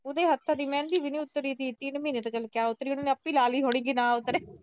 ਉਹਦੇ ਹੱਥਾਂ ਦੀ ਮਹਿੰਦੀ ਵੀ ਨੀ ਉਤਰੀ ਥੀ ਤਿੰਨ ਮਹੀਨੇ, ਉਹਨੇ ਆਪੇ ਲਾ ਲਈ ਹੋਣੀ ਵੀ ਨਾ ਉਤਰੇ।